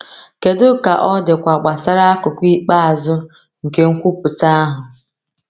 Kedu ka ọ dịkwa gbasara akụkụ ikpeazụ nke nkwupụta ahụ?